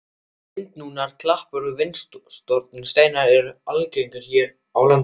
Vindnúnar klappir og vindsorfnir steinar eru algengir hér á landi.